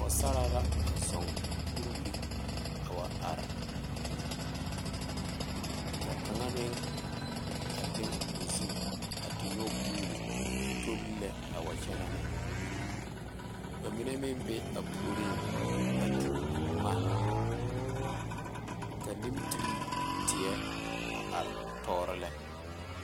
Pɔgesaare la a zuo kuriweri a wa are ka a kaŋe meŋ leŋe o zu te nyɔge guo tolla a wa kyɛnɛne ba mine meŋ be a puoriŋ meŋ tuu boma ka niitere tee are tuoro lɛ.